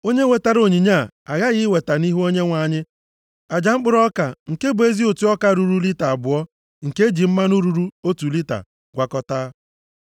Onye wetara onyinye a aghaghị iweta nʼihu Onyenwe anyị aja mkpụrụ ọka nke bụ ezi ụtụ ọka ruru lita abụọ nke e ji mmanụ ruru otu lita gwakọtaa.